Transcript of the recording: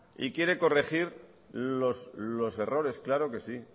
y quiere corregir los errores claro que sí